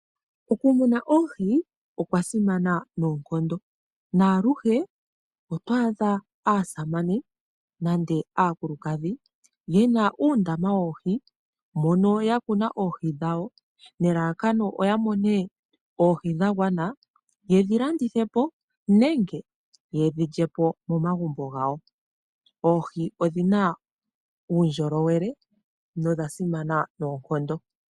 Okumuna oohi okwa simana noonkondo, naaluhe otwaadha aasamane nande aakulukadhi yena uundama woohi, mono yakuna oohi dhawo nelalakano yamone oohi dhagwana , yedhi landithepo nenge yedhi lyepo momagumbo gawo. Oohi odhina uundjolowele nodha simana noonkondo.